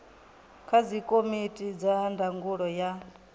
kha dzikomiti dza ndangulo ya